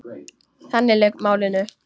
Þannig lauk málinu.